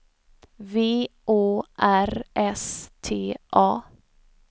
V Å R S T A